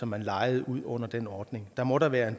man lejede ud under den ordning der må da være